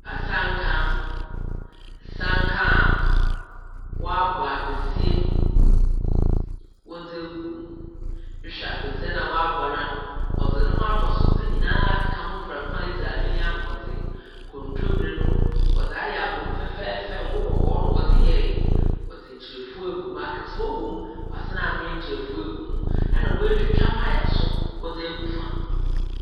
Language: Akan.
Asanka. Asanka a wɔabɔ apɛsie wɔde egum. Ehwɛ apesi no a wɔabɔ no a, wɔdze ne ho atosodze nyina akeka ho prɛko a edzi a ebenya ahoɔdzen. Kontomire no. wɔdze ayɛ abom fɛɛfɛɛfɛw ngo kɔkɔɔ na wɔdze yɛɛe. wɔde nkyrefua egum, akatoa wom, wɔasan anoa nkyrefua agu ho, ɛna wɔtwitwa paya nso wɔdze egu fa.